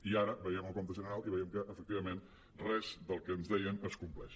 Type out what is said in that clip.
i ara veiem el compte general i veiem que efectivament res del que ens deien es compleix